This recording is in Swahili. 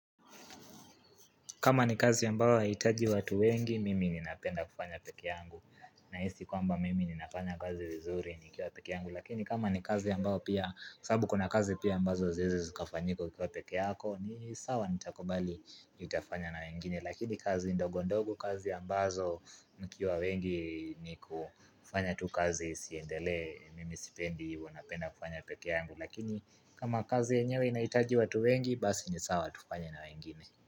Kama ni kazi ambao haitaji watu wengi, mimi ni napenda kufanya peke yangu. Nahisi kwamba mimi ni nafanya kazi vizuri nikiwa peke yangu. Lakini kama ni kazi ambao pia, sababu kuna kazi pia ambazo haziezi zikafanyika kwa peke yako, ni sawa nitakubali nitafanya na wengine. Lakini kazi ndogondogo kazi ambazo mkiwa wengi ni kufanya tu kazi isiendelee mimi sipendi hivo napenda kufanya peke yangu. Lakini kama kazi yenyewe inaitaji watu wengi, basi ni sawa tufanye na wengine.